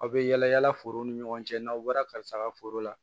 Aw bɛ yala yala forow ni ɲɔgɔn cɛ n'aw bɔra karisa ka foro la